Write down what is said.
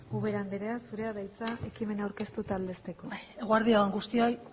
ubera andrea zurea da hitza ekimena aurkeztu eta aldezteko bai eguerdi on guztioi